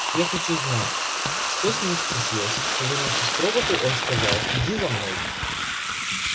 я хочу знать что с ним стряслось повернувшись к роботу он сказал иди за мной